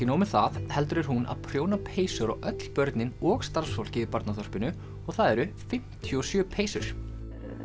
nóg með það heldur er hún að prjóna peysur á öll börnin og starfsfólkið í og það eru fimmtíu og sjö peysur